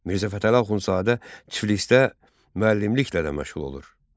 Mirzə Fətəli Axundzadə Tiflisdə müəllimliklə də məşğul olur.